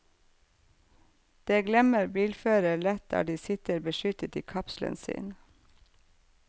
Det glemmer bilførere lett der de sitter beskyttet i kapselen sin.